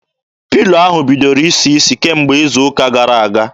Pilo ahụ bidoro isi isi kemgbe izu ụka gara aga.